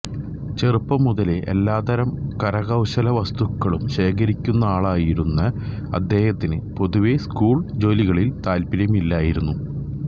ചെറുപ്പം മുതലേ എല്ലാത്തരം കരകൌശല വസ്തുക്കളും ശേഖരിക്കുന്നയാളായിരുന്ന അദ്ദേഹത്തിന് പൊതുവെ സ്കൂൾ ജോലികളിൽ താൽപ്പര്യമില്ലായിരുന്നു